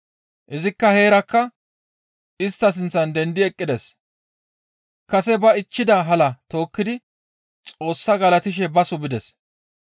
Izi heerakka istta sinththan dendi eqqides; kase ba ichchida halaa tookkidi Xoossaa galatishe baso bides.